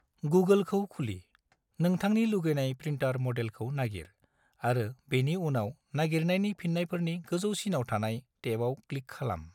गुगोलखौ खुलि, नोंथांनि लुगैनाय प्रिन्टार मडेलखौ नागिर, आरो बेनि उनाव नागिरनायनि फिन्नायफोरनि गोजौसिनाव थानाय टेबाव क्लिक खालाम।